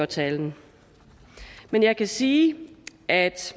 tale men jeg kan sige at